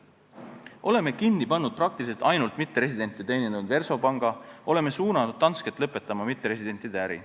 Oleme kinni pannud praktiliselt ainult mitteresidente teenindanud Versobanki, oleme suunanud Dansket lõpetama mitteresidentide äri.